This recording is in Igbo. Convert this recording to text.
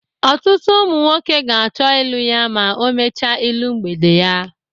otutụ umu nwọke ka acho ịlu ya ma o mecha ịlu mgbede ya.